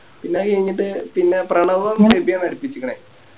പിന്ന അത് കയിഞ്ഞിറ്റ് പിന്നെ പ്രണവും ഇതേന്ന അടിപ്പിച്ചിക്കിണെ